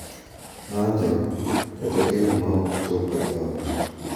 Ng’anjo, kata geno ma ok chopo e ot.